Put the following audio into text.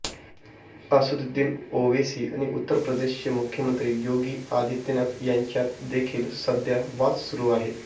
असदद्दुीन ओवेसी आणि उत्तर प्रदेशचे मुख्यमंत्री योगी आदित्यनाथ यांच्यात देखील सध्या वाद सुरु आहे